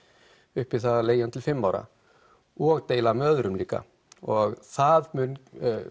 upp í það að leigja hann til fimm ára og deila með öðrum líka og það mun